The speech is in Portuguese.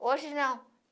Hoje não.